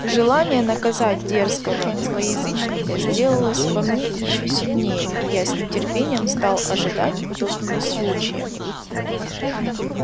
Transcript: желание наказать дерзкого злоязычника сделалось во мне ещё сильнее и я с нетерпением стал ожидать удобного случая